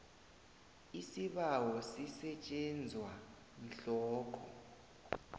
isibawo sisetjenzwa mhlokho